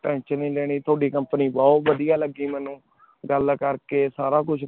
Tension ਤੁਹਾਡੀ Company ਬੋਹਤ ਵਾਦਿਯ ਲਾਗੀ ਮੇਨੂ ਗਲ ਕਰ ਕੇ ਸਾਰਾ ਕੁਛ